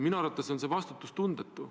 Minu arvates on see vastutustundetu.